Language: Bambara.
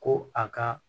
Ko a ka